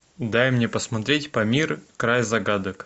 дай мне посмотреть памир край загадок